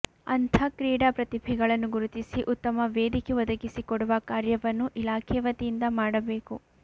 ಅಂಥ ಕ್ರೀಡಾ ಪ್ರತಿಭೆಗಳನ್ನು ಗುರುತಿಸಿ ಉತ್ತಮ ವೇದಿಕೆ ಒದಗಿಸಿ ಕೊಡುವ ಕಾರ್ಯವನ್ನು ಇಲಾಖೆ ವತಿಯಿಂದ ಮಾಡಬೇಕು